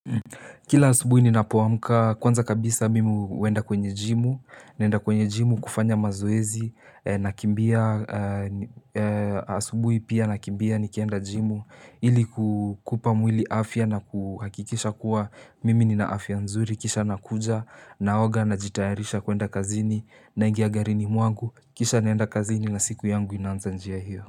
Kila asubuhi ninapo amuka, kwanza kabisa mimi huenda kwenye gym, naenda kwenye gym kufanya mazoezi, na kimbia asubuhi pia na kimbia ni kienda gym ili kukupa mwili afya na kuhakikisha kuwa mimi nina afya nzuri, kisha nakuja na naoga na jitayarisha kuenda kazini na ingia garini mwangu, kisha naenda kazini na siku yangu inanza njia hiyo.